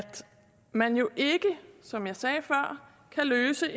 man jo ikke som jeg sagde før kan løse